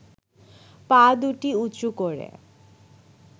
পা দুটি উঁচু করে